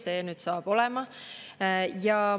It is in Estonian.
See saab olema.